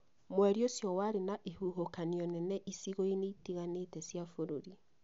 Mweri ũcio warĩ na ihuhũkanio nene icigo-inĩ itiganĩte cia bũrũri